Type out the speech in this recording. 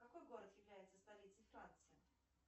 какой город является столицей франции